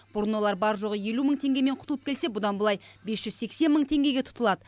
бұрын олар бар жоғы елу мың теңгемен құтылып келсе бұдан былай бес жүз сексен мың теңгеге тұтылады